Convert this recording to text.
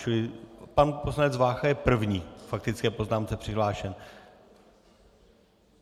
Čili pan poslanec Vácha je první k faktické poznámce přihlášen.